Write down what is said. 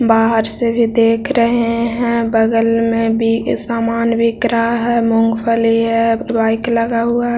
बाहर से भी देख रहे है बगल में भी सामान बिक रहा है मूंगफली है बाइक लगा हुआ --